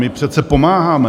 My přece pomáháme.